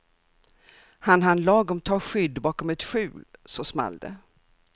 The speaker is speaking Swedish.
Han hann lagom ta skydd bakom ett skjul så small det.